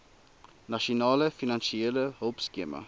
nasionale finansiële hulpskema